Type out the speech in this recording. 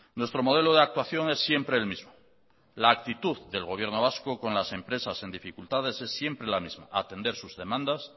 nuestro modelo de actuación es siempre el mismo la actitud del gobierno vasco con las empresas en dificultades es siempre la misma atender sus demandas